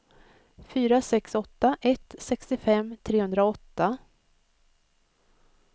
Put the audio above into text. fyra sex åtta ett sextiofem trehundraåtta